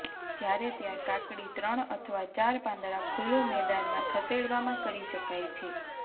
જ્યારે ત્યાં કાકડી ત્રણ અથવા ચાર પાંદડાં ખુલ્લું મેદાન માં ખસેડવામાં કરી શકાય છે